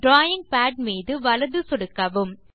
drawing pad மீது வலது சொடுக்கவும்